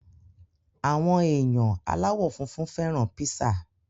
Àwọn èèyàn aláwọ̀ funfun fẹ́ràn píṣà